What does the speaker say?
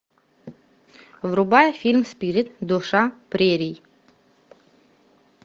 врубай фильм спирит душа прерий